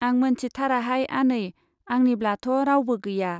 आं मोनथिथाराहाय आनै, आंनिब्लाथ' रावबो गैया।